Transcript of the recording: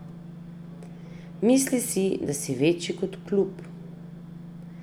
Mislil si, da si večji kot klub ...